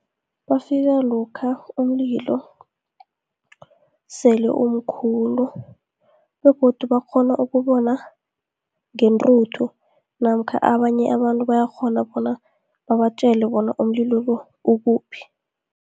Bafika lokha umlilo sele umkhulu, begodu bakghona ukubona ngentruthu, namkha abanye abantu bayakghona bona babatjele bona umlilo lo ukuphi.